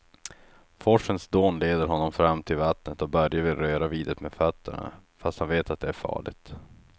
Forsens dån leder honom fram till vattnet och Börje vill röra vid det med fötterna, fast han vet att det är farligt.